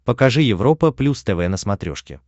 покажи европа плюс тв на смотрешке